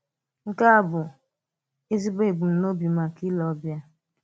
Nke a bụ ezigbo ebùmnòbi maka ìlè ọbìà.